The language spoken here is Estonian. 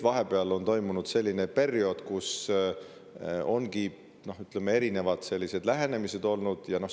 Vahepeal on olnud selline periood, kui ongi erinevad lähenemised olnud.